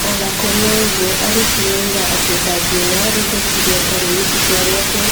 Ona kũrĩ o-ũguo, arutire ũira wa atĩ ndangĩoya rĩendekithia tarĩu, ĩtua rĩake rĩake rĩngĩarĩ rĩrĩkũ.